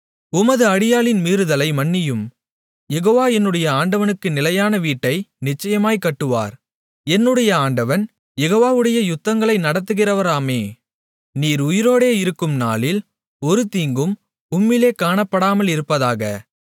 உமது அடியாளின் மீறுதலை மன்னியும் யெகோவா என்னுடைய ஆண்டவனுக்கு நிலையான வீட்டை நிச்சயமாய்க் கட்டுவார் என்னுடைய ஆண்டவன் யெகோவாவுடைய யுத்தங்களை நடத்துகிறவராமே நீர் உயிரோடே இருக்கும் நாளில் ஒரு தீங்கும் உம்மிலே காணப்படாமலிருப்பதாக